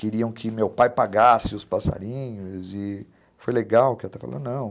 Queriam que meu pai pagasse os passarinhos e foi legal que ela está falando, não.